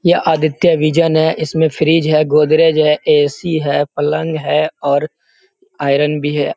यह आदित्य विजन है। इसमें फ्रिज है गोदरेज है ए.सी. है पलंग है और आयरन भी है।